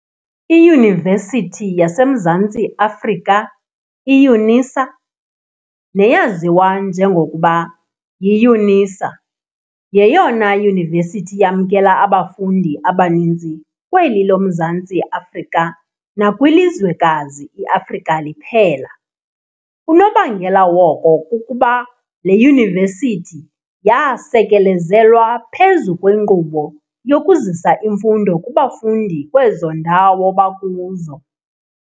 IYunivesithi yaseMzantsi Afrika, "iYUNISA"', neyaziwa njengokuba yiYunisa, yeyona yunivesithi yamkela abafundi abaninzi kweli loMzantsi Afrika nakwilizwekazi i-Afrika liphela. Unobangela woko kukuba le Yunivesithi yaasekelezelwa phezu kwenkqubo yokuzisa imfundo kubafundi kwezo ndawo bakuzo.